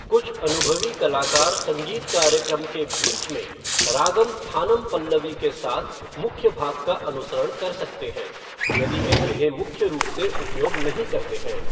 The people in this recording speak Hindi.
कुछ अनुभवी कलाकार संगीत कार्यक्रम के बीच में रागम थानम पल्लवी के साथ मुख्य भाग का अनुसरण कर सकते हैं, यदि वे इन्हे मुख्य रूप से उपयोग नहीं करते हैं।